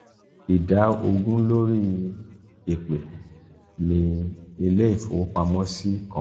ida ogun lori "ipe" ni ileifowopamosi kan.